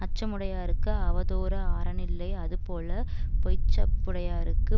அச்சமுடையார்க்கு அவதோரு ஆரணில்லை அதுபோலப் பொச்சாப்புடையார்க்கு